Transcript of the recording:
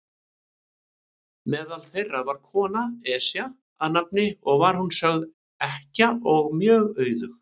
Meðal þeirra var kona, Esja að nafni, og var hún sögð ekkja og mjög auðug.